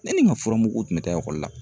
Ne ni n ka fura mugu tun bɛ taa ekɔli la